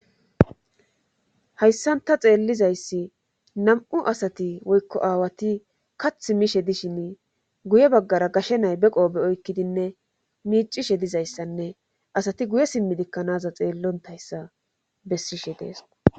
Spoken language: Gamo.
Hayssanta xeellizayssi nam'u asati woykko aawati kath miishe dishin guye baggara gashe nay beqoobe oykkidinne miicishe dizayssanne asati guye simmidikkanaza xeellontayssa bessishe deesqo.